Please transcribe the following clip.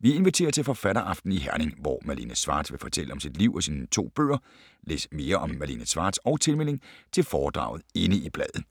Vi inviterer til en forfatteraften i Herning, hvor Malene Schwartz vil fortælle om sit liv og sine to bøger. Læs mere om Malene Schwartz og tilmelding til foredraget inde i bladet.